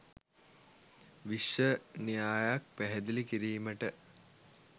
විශ්ව න්‍යායක් පැහැදිලි කිරීමට